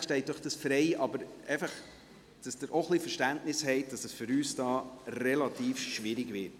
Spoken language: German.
Selbstverständlich steht Ihnen dies frei, aber haben Sie auch ein bisschen Verständnis, dass es für uns hier relativ schwierig wird.